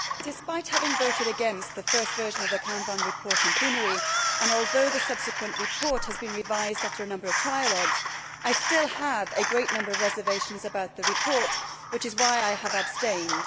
Madam President, despite having voted against the first version of the Canfin report in plenary and although the subsequent report has been revised after a number of trialogues, I still have a great number of reservations about the report, which is why I have abstained.